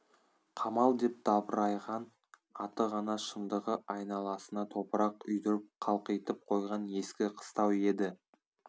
қамал деп дабырайған аты ғана шындығы айналасына топырақ үйдіріп қалқитып қойған ескі қыстау еді